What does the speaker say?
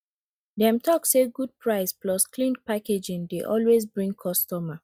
dem talk say good price plus clean packaging dey always bring customer